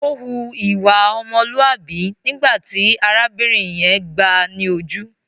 Ó hu ìwà ọmọlúàbí nígbà tí arábìnrin yẹn gbáà ni ojú.